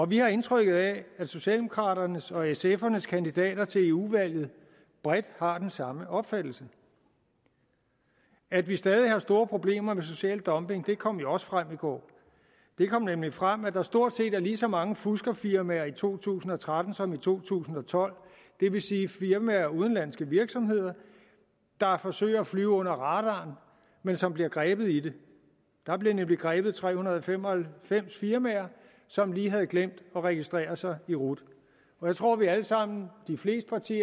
vi har indtrykket af at socialdemokraternes og sfs kandidater til eu valget bredt har den samme opfattelse at vi stadig har store problemer med social dumping kom jo også frem i går det kom nemlig frem at der stort set er lige så mange fuskerfirmaer i to tusind og tretten som i to tusind og tolv det vil sige firmaer udenlandske virksomheder der forsøger at flyve under radaren men som bliver grebet i det der blev nemlig grebet tre hundrede og fem og halvfems firmaer som lige havde glemt at registrere sig i rut jeg tror at vi alle sammen